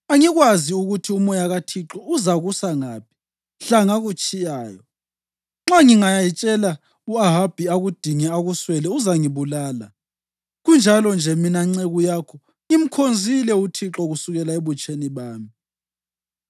Angikwazi ukuthi uMoya kaThixo uzakusa ngaphi mhla ngakutshiyayo. Nxa ngingayatshela u-Ahabi akudinge akuswele, uzangibulala. Kunjalo-nje mina nceku yakho ngimkhonzile uThixo kusukela ebutsheni bami.